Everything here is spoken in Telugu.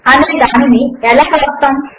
అనే దానిని ఎలా వ్రాస్తాము